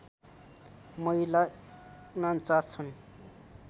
महिला ४९ छन्